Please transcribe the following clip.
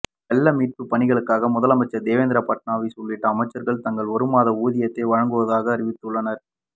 வெள்ள மீட்புப் பணிகளுக்காக முதலமைச்சர் தேவேந்திர பட்னாவிஸ் உள்ளிட்ட அமைச்சர்கள் தங்கள் ஒரு மாத ஊதியத்தை வழங்குவதாக அறிவித்துள்ளனர்